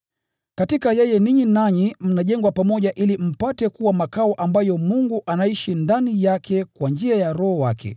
Katika yeye ninyi nanyi mnajengwa pamoja ili mpate kuwa makao ambayo Mungu anaishi ndani yake kwa njia ya Roho wake.